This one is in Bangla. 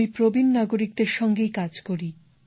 আমি প্রবীণ নাগরিকদের সঙ্গেই কাজ করি